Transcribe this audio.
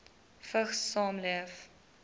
vigs saamleef